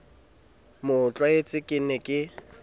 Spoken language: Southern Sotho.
mo tlwaetse ke ne ke